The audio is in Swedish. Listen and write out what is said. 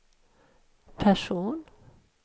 person